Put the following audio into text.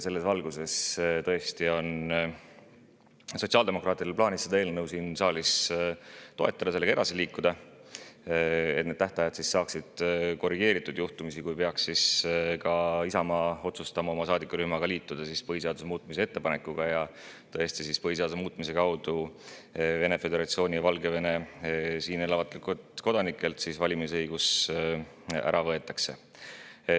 Selles valguses on sotsiaaldemokraatidel plaanis seda eelnõu siin saalis tõesti toetada, et sellega saaks edasi liikuda ja need tähtajad saaksid korrigeeritud, kui ka Isamaa saadikurühm peaks otsustama liituda põhiseaduse muutmise ettepanekuga ja põhiseaduse muutmise kaudu Vene föderatsiooni ja Valgevene siin elavatelt kodanikelt valimisõigus ära võetakse.